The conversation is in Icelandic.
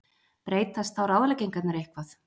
Breytast þá ráðleggingarnar eitthvað?